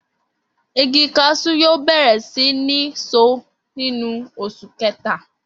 Igi kasú yóò bèrè sí ní so nínú osù kéta